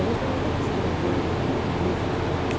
Eu gostaria muito de escrever o o o livro didático.